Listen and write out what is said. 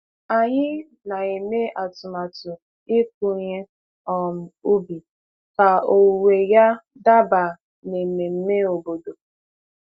Anyị na-eme atụmatụ ịkụ ihe um ubi ka owuwe ya daba n'ememe obodo.